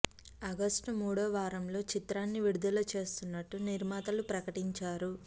August మూడో వారంలో చిత్రాన్ని విడుదల చేస్తున్నట్లు నిర్మాతలు ప్రకటించారు